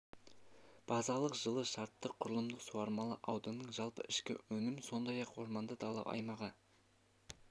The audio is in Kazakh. базалық жылы шартты құрылымдық суармалы ауданның жалпы ішкі өнім сондай-ақ орманды дала аймағы